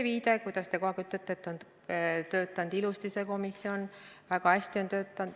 Täna on kogu aeg öeldud, et on töötanud ilusasti see komisjon, väga hästi on töötanud.